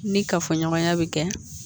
Ni kafoɲɔgɔnya bɛ kɛ